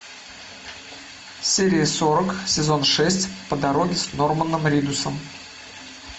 серия сорок сезон шесть по дороге с норманом ридусом